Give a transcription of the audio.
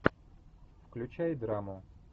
включай драму